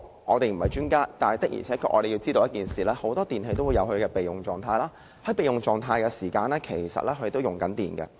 我們不是專家，但我們確實知道很多電器也有備用狀態功能，在使用備用狀態時，其實也在耗電。